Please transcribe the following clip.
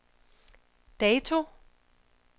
dato